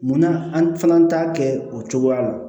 Munna an fana t'a kɛ o cogoya la